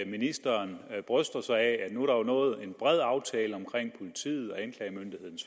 ministeren bryster sig af at der nu er nået en bred aftale omkring politiets